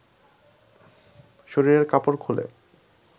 শরীরের কাপড় খুলে